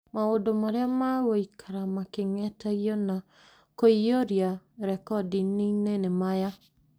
Maũndũ marĩa magũikara making'etagio na kũiyũria rekondi-inĩ nĩ maya;